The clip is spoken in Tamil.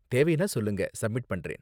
தேவைனா சொல்லுங்க, சப்மிட் பண்றேன்.